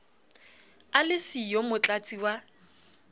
a le siyo motlatsi wa